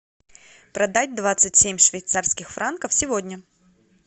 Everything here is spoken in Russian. продать двадцать семь швейцарских франков сегодня